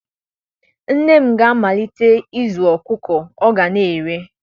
Nne m ga-amalite ịzụ ọkụkọ ọ ga na-ere